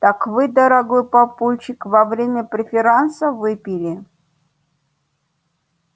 так вы дорогой папульчик во время преферанса выпили